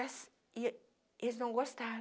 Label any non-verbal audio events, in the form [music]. [unintelligible] E eles não gostaram.